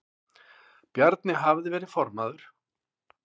Bjarni hafði verið formaður